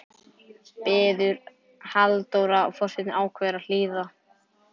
biður Halldóra og forsetinn ákveður að hlýða.